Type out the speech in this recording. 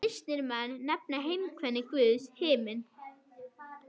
Kristnir menn nefna heimkynni Guðs himin.